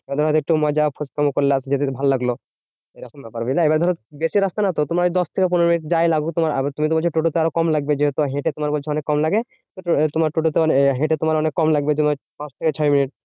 এবার ধরো একটু মজা ফোচকামো করলা যদি ভাল লাগলো। এরকম ব্যাপার বুঝলা? এবার ধরো বেশি রাস্তা নয় তো তোমার ওই দশ থেকে পনেরো মিনিট যাই লাগুক তোমার। তুমি তো বলছো টোটো তে আরো কম লাগবে। যেহেতু হেঁটে তোমার বলছো অনেক কম লাগে। তোমরা টোটো তে মানে হেঁটে তোমার অনেক কম লাগবে তোমার পাঁচ থেকে ছয় মিনিট।